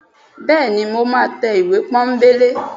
bẹẹni, mọ ma te ìwé pónbelé